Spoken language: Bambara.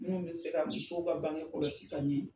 Minnu bɛ se ka musow ka bange kɔlɔsi ka ɲɛ.